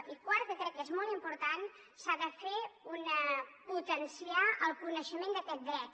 i quart que crec que és molt important s’ha de potenciar el coneixement d’aquest dret